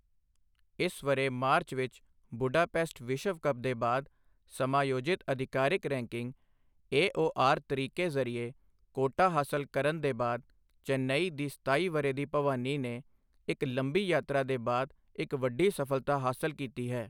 ਇਸ ਵਰ੍ਹੇ ਮਾਰਚ ਵਿੱਚ ਬੁਡਾਪੇਸਟ ਵਿਸ਼ਵ ਕੱਪ ਦੇ ਬਾਅਦ ਸਮਾਯੋਜਿਤ ਅਧਿਕਾਰਿਕ ਰੈਕਿੰਗ ਏਓਆਰ ਤਰੀਕੇ ਜ਼ਰੀਏ ਕੋਟਾ ਹਾਸਲ ਕਰਨ ਦੇ ਬਾਅਦ, ਚੇਨੱਈ ਦੀ ਸਤਾਈ ਵਰ੍ਹੇ ਦੀ ਭਵਾਨੀ ਨੇ ਇੱਕ ਲੰਬੀ ਯਾਤਰਾ ਦੇ ਬਾਅਦ ਇੱਕ ਵੱਡੀ ਸਫਲਤਾ ਹਾਸਲ ਕੀਤੀ ਹੈ।